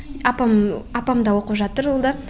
апам апам да оқып жатыр ол да